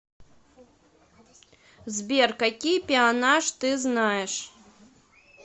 сбер какие пеонаж ты знаешь